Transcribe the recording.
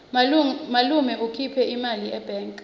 malume ukhipha imali ebhange